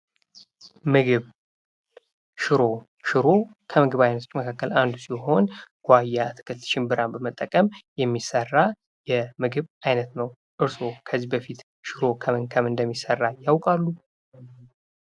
ምግብ ሽሮ፡- ሽሮ ከምግብ አይነቶች መካከል አንዱ ሲሆን ጉዋያ አትክልት ፣ሽምብራን በመጠቀም የሚሠራ የምግብ ዓይነት ነው። እርሶ ከዚህ በፊት ሽሮ ከምን ከምን እንደሚሰራ ያውቃሉ።